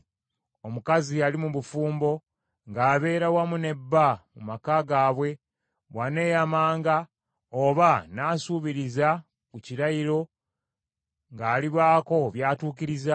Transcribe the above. “Omukazi ali mu bufumbo ng’abeera wamu ne bba mu maka gaabwe, bw’aneeyamanga oba n’asuubiriza ku kirayiro ng’alibaako by’atuukiriza,